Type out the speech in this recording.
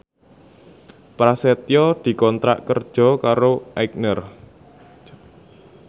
Prasetyo dikontrak kerja karo Aigner